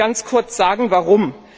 Ich will Ihnen ganz kurz sagen, warum.